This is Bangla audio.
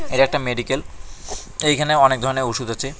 এটা একটা মেডিক্যাল এইখানে অনেক ধরনের ওষুধ আছে।